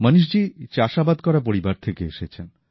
মণীশজী চাষআবাদ করা পরিবার থেকে এসেছেন